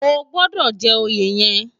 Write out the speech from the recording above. Ógbòdò jè óyé yèn